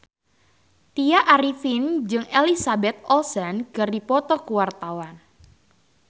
Tya Arifin jeung Elizabeth Olsen keur dipoto ku wartawan